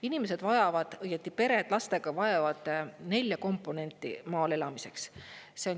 Inimesed vajavad, õieti pered lastega vajavad nelja komponenti maal elamiseks.